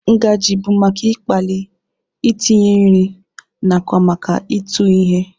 Ngaji bụ maka ịkpali, itinye nri, nakwa maka ịtụ ihe.